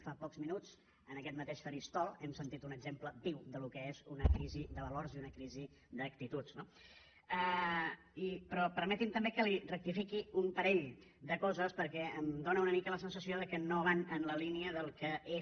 fa pocs minuts en aquest mateix faristol hem sentit un exemple viu del que és una crisi de valors i una crisi d’actituds no però permeti’m també que li rectifiqui un parell de coses perquè em fa una mica la sensació que no van en la línia del que és